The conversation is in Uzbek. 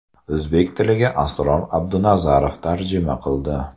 O‘zbek tiliga Asror Abdunazarov tarjima qildi.